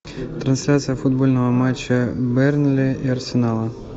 трансляция футбольного матча бернли и арсенала